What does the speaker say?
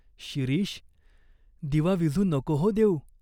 "शिरीष, दिवा विझू नको हो देऊ.